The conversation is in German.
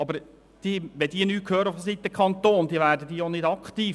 Aber wenn diese vonseiten des Kantons nichts hören, dann werden sie auch nicht aktiv.